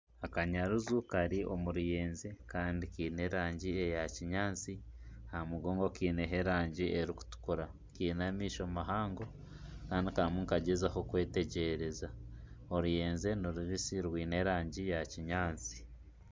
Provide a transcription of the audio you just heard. Akanyaruju kari omu ruyenje Kandi kiine erangi eya kinyatsi ,aha mugongo Kaine erangi erikutukura ,Kaine amaisho mahango Kandi karimu nikagyezaho kwetegyereza oruyenje ni rubisi rwine erangi ya kinyatsi.